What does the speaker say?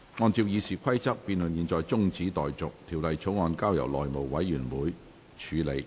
按照《議事規則》，辯論現在中止待續，條例草案交由內務委員會處理。